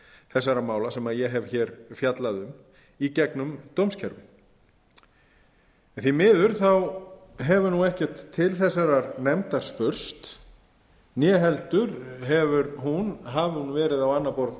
þessara mála sem ég hef fjallað um í gegnum dómskerfið en því miður hefur ekkert til þessarar nefndar spurst né heldur hefur hún hafi hún verið á annað borð